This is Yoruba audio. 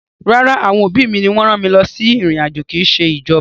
Rárá, àwọn òbí mi ni wọ́n rán mi lọ sí ìrìn-àjò, kì í ṣe ìjọba.